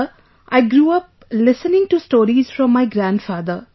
Sir, I grew up listening to stories from my grandfather